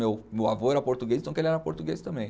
Meu meu avô era português, então que ele era português também.